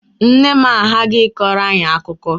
Nne m aghaghị ịkọrọ anyị akụkọ!